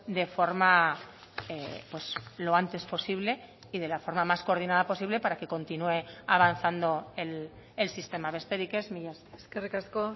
de forma lo antes posible y de la forma más coordinada posible para que continúe avanzando el sistema besterik ez mila esker eskerrik asko